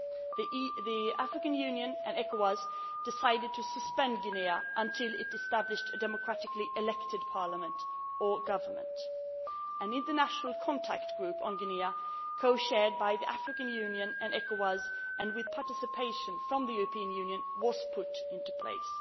us. The African Union and ECOWAS decided to suspend Guinea until it established a democratically elected parliament or government. An international contact group on Guinea co chaired by the African Union and ECOWAS, and with participation by the European Union, was put into place.